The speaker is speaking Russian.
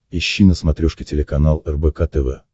ищи на смотрешке телеканал рбк тв